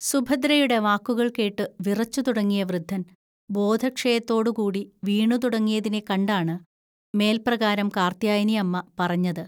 സുഭദ്രയുടെ വാക്കുകൾകേട്ടു വിറച്ചുതുടങ്ങിയ വൃദ്ധൻ ബോധക്ഷയത്തോടുകൂടി വീണുതുടങ്ങിയതിനെക്കണ്ടാണ് മേൽപ്രകാരം കാർത്ത്യായനിഅമ്മ പറഞ്ഞത്